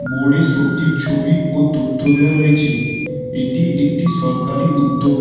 বোর্ডে সব্জীর ছবি ও তথ্য দেওয়া রয়েছে এটি একটি সরকারি উদ্যোগ।